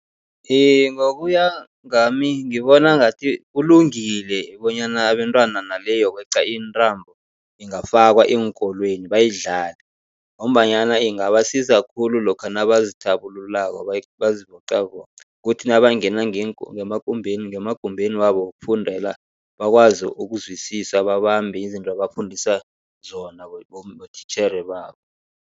Iye, ngokuya ngami ngibona ngathi kulungile bonyana abentwana nale yokweqa intambo ingafakwa eenkolweni bayidlale, ngombanyana ingabasiza khulu lokha nabazithabululako bazivocavoca. Kuthi nabangena ngemakumbeni ngemagumbeni wabo wokufundela, bakwazi ukuzwisisa babambe izinto abafundisa zona botitjhere babo.